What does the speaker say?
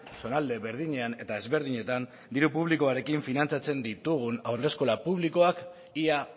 zonalde berdinean eta ezberdinetan diru publikoarekin finantzatzen ditugun haurreskola publikoak ia